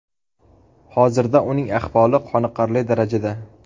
Hozirda uning ahvoli qoniqarli darajada.